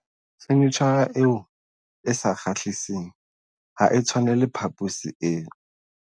Fenitjhara eo e sa kgahliseng ha e tshwanele phaposi eo.